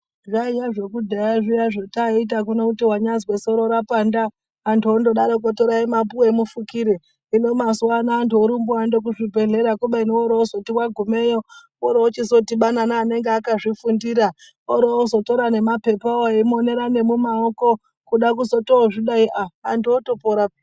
Zvaiya zvekudhaya zviya zvataiita kuno kuti wanyazwa soro rapanda andu ondodaroko torai mapuwe mufukire hino mazuvano andu orumba oenda kuzvibhedhlera kubeni orozoti wagumeyo orozoti abubane nanenge akazvifundira ozotora nema pepawo omonera mumaoko kuda kuzotozvidai andu otopora.